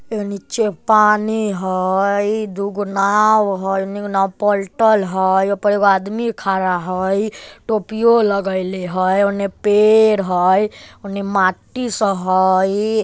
ए नीचे पानी हई दू गो नाव हई उने एगो नाव पलटल हई ओय पर एगो आदमी खड़ा हई टोपियों लगेले हई उने पेड़ हई उने माटी सब हई।